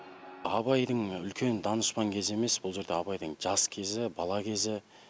абайдың үлкен данышпан кезі емес бұл жерде абайдың жас кезі бала кезі